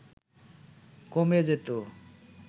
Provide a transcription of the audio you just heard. কমে যেতো